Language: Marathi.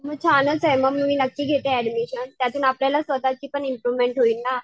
मग छानच आहे मग मी नक्की घेते ऍडमिशन त्यातून आपल्याला स्वतःची पण इम्प्रोव्हमेन्ट होईल ना.